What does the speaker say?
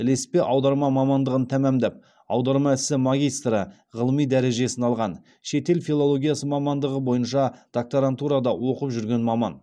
ілеспе аударма мамандығын тәмамдап аударма ісі магистрі ғылыми дәрежесін алған шетел филологиясы мамандығы бойынша докторантурада оқып жүрген маман